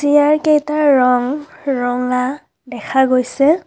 চিয়াৰকেইটাৰ ৰং ৰঙা দেখা গৈছে।